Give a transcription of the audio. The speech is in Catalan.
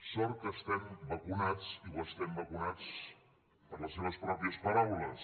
sort que estem vacunats i ho estem vacunats per les seves pròpies paraules